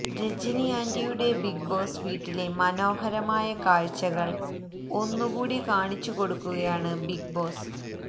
രാജിനി ആന്റിയുടെ Bigg Boss വീട്ടിലെ മനോഹരമായ കാഴ്ചകൾ ഒന്നുകൂടി കാണിച്ചുകൊടുക്കുകയാണ് ബിഗ് ബോസ്